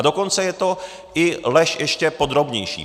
A dokonce je to i lež ještě podrobnější.